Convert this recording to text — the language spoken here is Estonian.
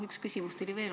Üks küsimus tuli veel.